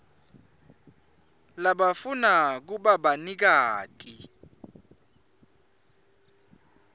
labafuna kuba banikati